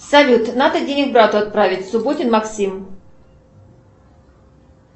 салют надо денег брату отправить субботин максим